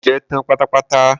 Mo jẹ́ tán pátápátá.